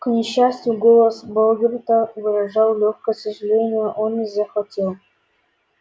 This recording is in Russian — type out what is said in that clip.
к несчастью голос богерта выражал лёгкое сожаление он не захотел